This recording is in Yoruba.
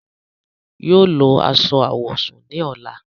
Yóò lọ aṣọ awọsún ni ọla.